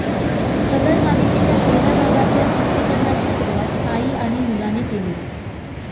सदर मालिकेच्या पहिल्या भागाच्या चित्रीकरणाची सुरुवात आई आणि मुलाने झाली